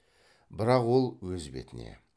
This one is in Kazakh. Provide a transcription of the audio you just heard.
бірақ ол өз бетіне